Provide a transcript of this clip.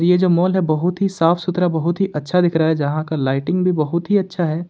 ये जो माल है बहुत ही साफ सुथरा बहुत ही अच्छा दिख रहा है जहां का लाइटिंग भी बहुत ही अच्छा है।